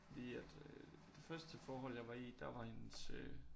Fordi at øh det første forhold jeg var i der var hendes øh